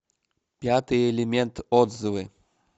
пятый элемент отзывы